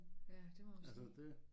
Ja det må man sige